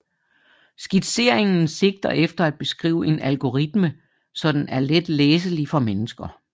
Skitseringen sigter efter at beskrive en algoritme så den er let læselig for mennesker